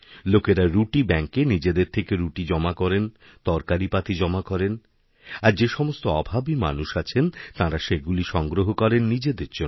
লোকেরা রুটি ব্যাঙ্কে নিজেদেরথেকে রুটি জমা করেন তরকারিপাতি জমা করেন আর যেসমস্ত অভাবী মানুষ আছেন তাঁরাসেগুলি সংগ্রহ করেন নিজেদের জন্য